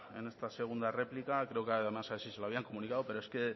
en esta segunda réplica creo que además así se lo habían comunicado pero es que